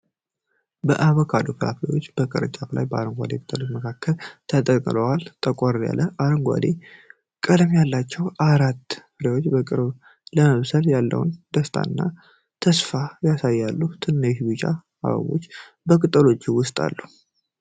የአቮካዶ ፍሬዎች ከቅርንጫፉ ላይ በአረንጓዴ ቅጠሎች መካከል ተንጠልጥለዋል። ጠቆር ያለ አረንጓዴ ቀለም ያላቸው አራቱ ፍሬዎች በቅርቡ ለመብሰል ያለውን ደስታና ተስፋ ያሳያሉ። ትናንሽ ቢጫ አበቦችም በቅጠሎቹ ውስጥ አሉ።